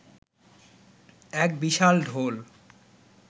এক বিশাল ঢোল